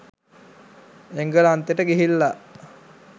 එංගලන්තෙට ගිහිල්ල